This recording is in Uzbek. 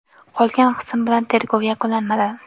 Qolgan qism bilan tergov yakunlanmadi.